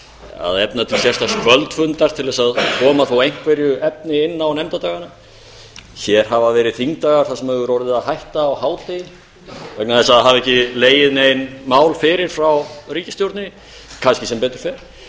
að efna til sérstaks kvöldfundar til að koma þó einhverju efni inn á nefndadagana hér hafa verið þingdagar þar sem hefur orðið að hætta á hádegi vegna þess að það hafa ekki legið nein mál fyrir frá ríkisstjórninni kannski sem betur fer þau